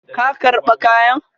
Ka karba kayan?